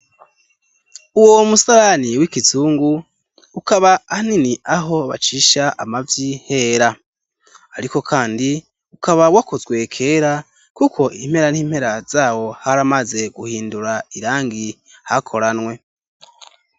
Uwo musarani w'igizungu ukaba hanini aho bacisha amavyi hera, ariko, kandi ukaba wakozwe kera, kuko impera nt'impera zawo hari amaze guhindura irangi hakoranwe.